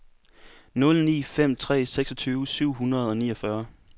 nul ni fem tre seksogtyve syv hundrede og niogfyrre